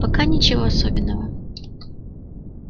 пока ничего особенного